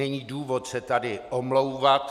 Není důvod se tady omlouvat.